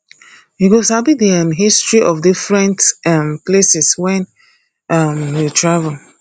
you go sabi the um history of different um places when um you travel